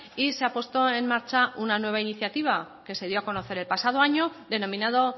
y se ha puesto en marcha una nueva iniciativa que se dio a conocer el pasado año denominado